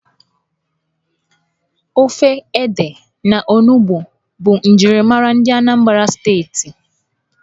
Ofe ede na olugbu bụ njirimara ndị Anambra Steeti.